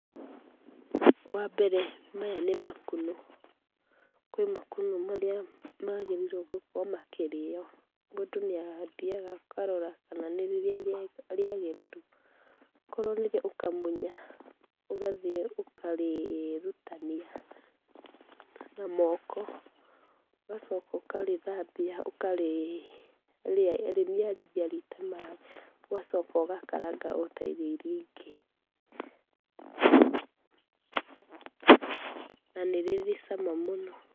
Wambere maya nĩ makunũ kwĩ makunũ marĩa magĩrĩrio gũkorwo makĩrĩwa ,mũndũ nĩathiaga akarora kana nĩrĩrĩa rĩega kana nĩrĩrĩa rĩagĩrĩru korwo nĩrĩo ũkamunya ũgathĩi ũkarĩrutania na moko ũgacoka ũkarĩthabia ũkarĩanĩria ũgacoka ũgakaranga na rĩ cama mũno.